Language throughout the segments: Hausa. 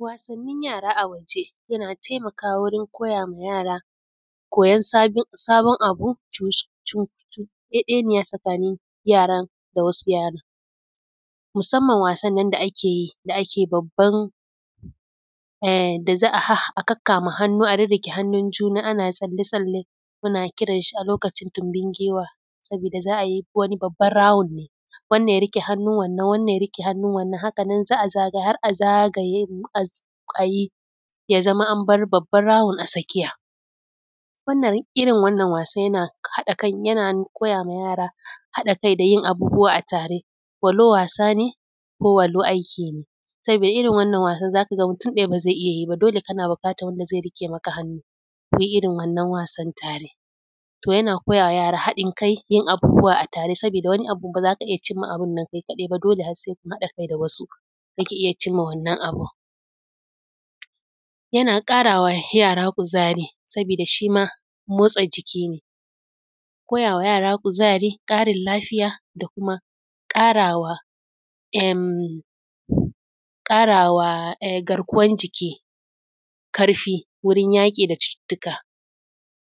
Wasanin yara a waje yana taimakawa wurin koya ma yara koyan sabon abu cukuɗeɗeniya tsakanin yaran da wasu yaran musamman wasan nan da ake babban, da za a kakkama hannu a rirreƙe hannun juna ana tsalle tsalle muna kiran shi a lokacin tumbin giwa sabida za a yi wani babban rawun ne, wannan ya riƙe hannu wannan, wannan ya riƙe hannun wannan haka nan za a zagaya har a zagaye ya zamo an bar babban rawun a tsakiya. Irin wannan wasan yana koyawa yara haɗin kai da yin abubuwa a tare walau wa ko walau aikin ne. saboda irin wannan wasan za ka ga mutun ɗaya ba zai iya yi ba dole kana buƙatan wanda zai riƙe maka hannu ku yi irin wannan wasan tare. To yana koya wa yara haɗin kai da yin abubuwa tare sabida wani abu ba za ka iya cimma abun nan kai kaɗai ba dole har sai kun haɗa kai da wasu za ka iya cimma wannan abun. Yana ƙarawa yara kuzari saboda shi ma motsa jiki ne, koya wa yara kuzari, ƙarin lafiya, da kuma ƙarawa garkuwan jiki ƙarfi wurin yaƙi da cucuttuka.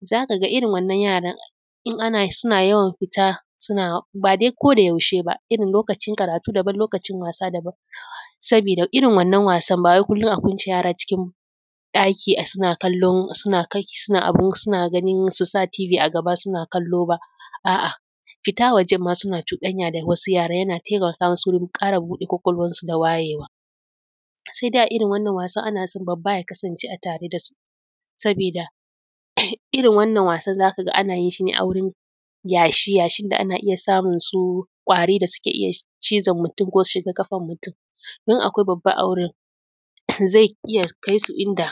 Za ka ga irin wannan yaran in suna yawan fita suna ba dai ko da yaushe ba irin lokacin karatu daban, lokacin wasa daban sabida irin wannan wasan bawai kullun a ƙunce yara a cikin ɗaki suna kalla su sa tibi a gaba suna kallo ba, a’a fita wajan ma suna cuɗanya da wasu yaran yana taimaka masu wurin ƙara buɗe ƙwaƙwalwansu da wayewa, sai dai a irin wannan wasan ana so babba ya kasance tare da su sabida irin wannan wasan za ka ga ana yin shi ne a wurin yashi, yashin da ana iya samun su ƙwari da suke iya cizon mutum, ko su shiga ƙafan mutum. In akwai babba a wurin zai iya kai su inda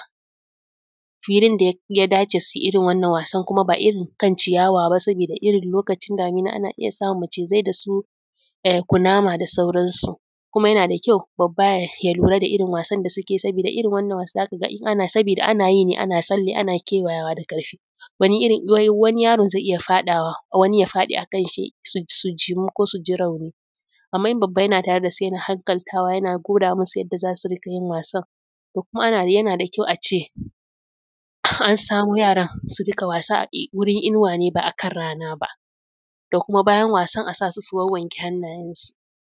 fillin da ya dace su yi irin wannan wasan kuma ba irin kan ciyawa ba sabida irin lokacin damuna ana iya samun su macizai da su kunama da sauransu. Kuma yana da kyau babba ya lura da irin wasan da suke sabida irin wannan wasan da suke za ka ga ana yi ne ana tsalle ana kewayawa da ƙarfi. Wani yaro zai iya faɗawa wani ya faɗi a kan shi su jimu, ko su ji rauni. Amma in babba yana tare da su yana hankaltawa, yana gwada masu yanda za su yi wasan. Kuma yana da kyau a ce a samu yara su dinga wasan gurin inuwa ba a kan rana ba, kuma bayan wasan a sa su wawwanke hannayan su.